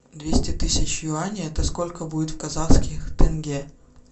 двести тысяч юаней это сколько будет в казахских тенге